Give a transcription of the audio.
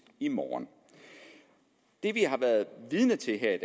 i morgen det vi har været vidne til her